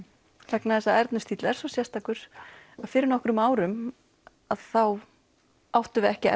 vegna þess að Ernu stíll er svo sérstakur að fyrir nokkrum árum þá áttum við ekki